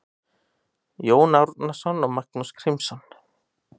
Jón Árnason og Magnús Grímsson